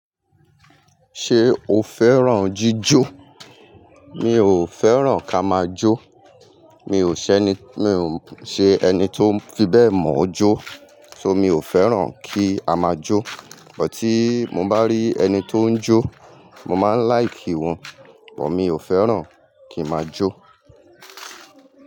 Ṣé o fẹ́ràn jíjó? Mi ò fẹ́ràn ká máa jó, mi ò ṣẹni, mi ò ṣe ẹni tó fi bẹ́ẹ̀ mọ̀ ọ́ jó, so mi ò fẹ́ràn kí a máa jó. Bọ tí mo bá rí ẹni tó ń jó, mo máa ń like wọn bọ mio fẹran kín máa jo.